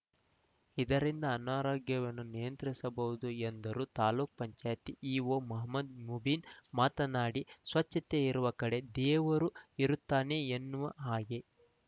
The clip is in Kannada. ಇದರಿಂದ ಅನಾರೋಗ್ಯವನ್ನು ನಿಯಂತ್ರಿಸಬಹುದು ಎಂದರು ತಾಲೂಕ್ ಪಂಚಾಯಿತಿ ಇಒ ಮಹಮದ್‌ ಮುಬೀನ್‌ ಮಾತನಾಡಿ ಸ್ವಚ್ಛತೆ ಇರುವ ಕಡೆ ದೇವರು ಇರುತ್ತಾನೆ ಎನ್ನುವ ಹಾಗೇ